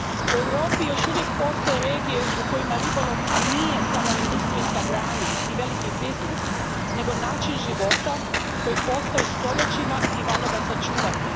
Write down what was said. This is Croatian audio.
U Europi još uvijek postoje regije u kojima ribolov nije samo industrijska grana i veliki biznis, nego način života koji postoji stoljećima i valja ga sačuvati.